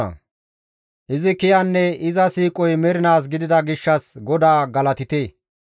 Izi kiyanne iza siiqoy mernaas gidida gishshas GODAA galatite!